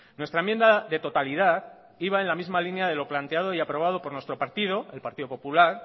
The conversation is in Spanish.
nuestra enmienda de totalidad iba en la misma línea de lo planteado y aprobado por nuestro partido el partido popular